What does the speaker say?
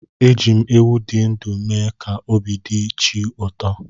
Eji m ewu dị ndụ mee ka obi dị chi ụtọ.